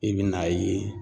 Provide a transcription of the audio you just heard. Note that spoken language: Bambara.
I bɛ n'a ye